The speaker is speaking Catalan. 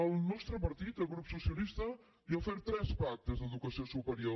el nostre partit el grup socialista li ha ofert tres pactes d’educació superior